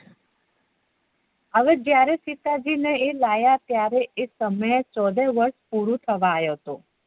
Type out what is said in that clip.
હવે સીતાજી ને એ લાવ્યા ત્યારે એ સમય ચૌદ વર્ષ પૂરું થવા આવીયાતા